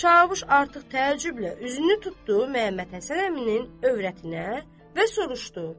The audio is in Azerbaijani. Çavuş artıq təəccüblə üzünü tutdu Məhəmməd Həsən əminin övrətinə və soruşdu.